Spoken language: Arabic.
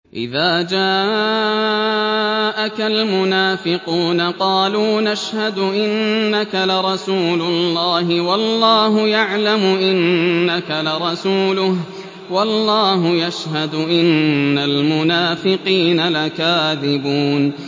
إِذَا جَاءَكَ الْمُنَافِقُونَ قَالُوا نَشْهَدُ إِنَّكَ لَرَسُولُ اللَّهِ ۗ وَاللَّهُ يَعْلَمُ إِنَّكَ لَرَسُولُهُ وَاللَّهُ يَشْهَدُ إِنَّ الْمُنَافِقِينَ لَكَاذِبُونَ